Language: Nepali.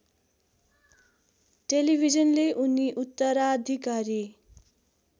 टेलिभिजनले उनी उत्तराधिकारी